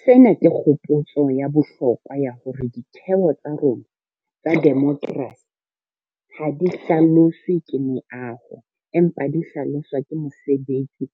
Sena ke kgopotso ya bohlokwa ya hore ditheo tsa rona tsa demokerasi ha di hlaloswe ke meaho, empa di hlaloswa ke mosebetsi